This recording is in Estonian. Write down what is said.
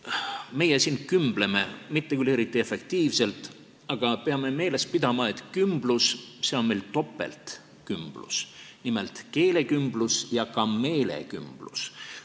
Meie siin kümbleme – mitte küll eriti efektiivselt –, aga peame meeles pidama, et see kümblus on meil topeltkümblus, nimelt keelekümblus ja ka meelekümblus.